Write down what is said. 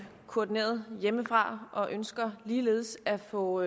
koordineret hjemmefra og ønsker ligeledes at få